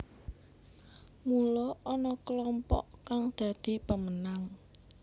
Mula ana klompok kang dadi pemenang